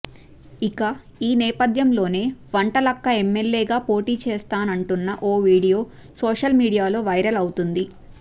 ఇక ఈ నేపథ్యంలోనే వంటలక్క ఎమ్మెల్యేగా పోటీ చేస్తానంటున్న ఓ వీడియో సోషల్ మీడియాలో వైరల్ అవుతుంది